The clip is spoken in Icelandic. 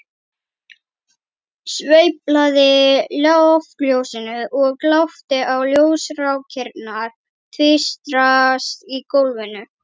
Sveiflaði loftljósinu og glápti á ljósrákirnar tvístrast á gólfinu.